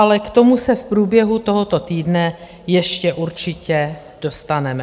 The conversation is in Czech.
Ale k tomu se v průběhu tohoto týdne ještě určitě dostaneme.